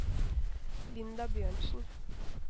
Linda Bjørnsen